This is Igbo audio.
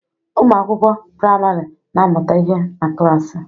Ụmụ akwụkwọ praịmarị na-amụta ihe na klasi